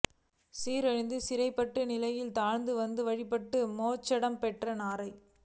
சிறகிழந்து சிரமப்பட்ட நிலையிலும் தவழ்ந்து வந்து வழிபட்டு மோட்சம் பெற்றது நாரை